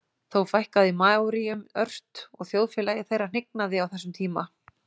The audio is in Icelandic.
Þó fækkaði maóríum ört og þjóðfélagi þeirra hnignaði á þessum tíma.